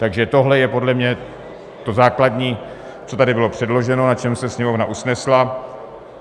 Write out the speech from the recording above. Takže tohle je podle mě to základní, co tady bylo předloženo, na čem se Sněmovna usnesla.